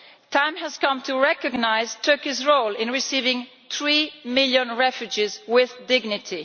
The time has come to recognise Turkey's role in receiving three million refugees with dignity.